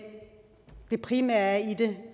det primære i det